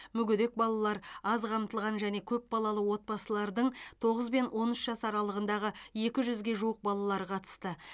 мүгедек балалар аз қамтылған және көпбалалы отбасылардың тоғыз бен он үш жас аралығындағы екі жүзге жуық балалары қатысты